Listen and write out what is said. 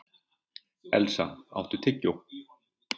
Elsa, áttu tyggjó?